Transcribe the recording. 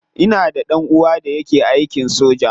Ina da dan uwa da yake aikin soja.